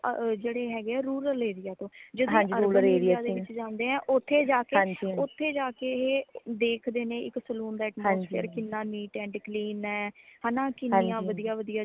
ਅਹ ਜੇੜੇ ਹੈਗੇ rural area ਤੋਂ ਯਦੀ ਅਰਬਨ area ਦੇ ਵਿਚ ਜਾਂਦੇ ਹੈ ਤੇ ਓਥੇ ਜਾਕੇ ਓਥੇ ਜਾਕੇ ਏਹੇ ਦੇਖਦੇ ਨੇ ਇੱਕ saloon ਦਾ atmosphere ਕਿੰਨਾ neat and clean ਹੈ ਹੈ ਨਾ ਕੀਨੀਆ ਵਧੀਆ ਵਧੀਆ